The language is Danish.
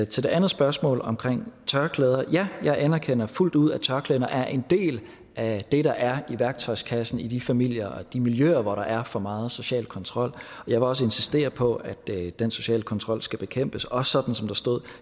til det andet spørgsmål om tørklæder vil jeg jeg anerkender fuldt ud at tørklæder er en del af det der er i værktøjskassen i de familier og de miljøer hvor der er for meget social kontrol jeg vil også insistere på at den sociale kontrol skal bekæmpes også sådan som der stod